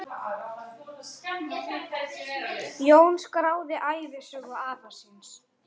Jón skráði ævisögu afa síns.